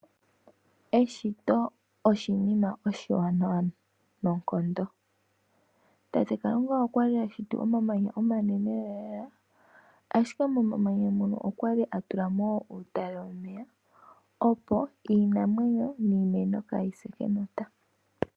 Eshito oshinima oshiwanawa noonkondo . Tate Kalunga okwali a shiti omamanya omanene lelalela ashike momanya mono okwali a tulamo wo uutale womeya opo iinamwenyo niimeno kaayise kenota.